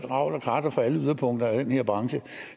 og krat fra alle yderpunkter af den her branche